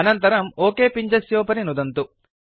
अनन्तरं ओक पिञ्जस्योपरि नुदन्तु